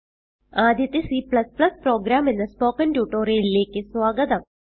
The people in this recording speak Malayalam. ആദ്യത്തെ C പ്രോഗ്രാം എന്ന സ്പോകെൻ ട്യൂട്ടോറിയലിലേക്ക് സ്വാഗതം